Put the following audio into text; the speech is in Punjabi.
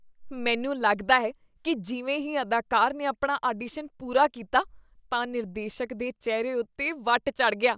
ਮੈਨੂੰ ਲੱਗਦਾ ਹੈ ਕੀ ਜਿਵੇਂ ਹੀ ਅਦਾਕਾਰ ਨੇ ਆਪਣਾ ਆਡੀਸ਼ਨ ਪੂਰਾ ਕੀਤਾ, ਤਾਂ ਨਿਰਦੇਸ਼ਕ ਦੇ ਚਿਹਰੇ ਉੱਤੇ ਵੱਟ ਚੜ੍ਹ ਗਿਆ।